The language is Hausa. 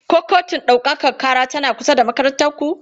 Ko kotun ɗaukaka ƙara tana kusa da makarantar ku?